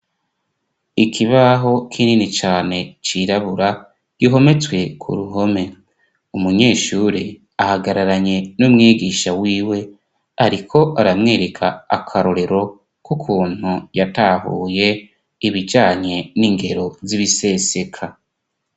Ikibaho k'inini cane cirabura gihometswe ku ruhome umunyeshure ahagararanye no mwegisha wiwe, ariko aramwereka akarorero k'ukuntu yatahuye ibijanye n'ingero z'ibiseseka.